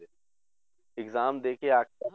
exam ਦੇ ਕੇ ਆ ਕੇ